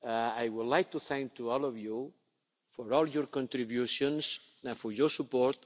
I would like to thank all of you for all your contributions and for your support.